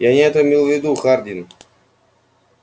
я не это имел в виду хардин